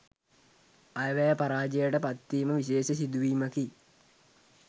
අයවැය පරාජයට පත්වීම විශේෂ සිදුවීමකි.